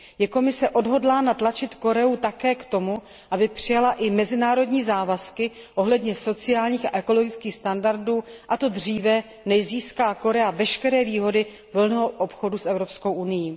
Je Komise odhodlána tlačit Koreu také k tomu, aby přijala i mezinárodní závazky ohledně sociálních a ekologických standardů, a to dříve, než získá Korea veškeré výhody volného obchodu s Evropskou unií?